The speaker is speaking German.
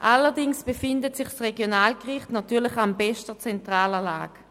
Allerdings befindet sich das Regionalgericht an bester zentraler Lage.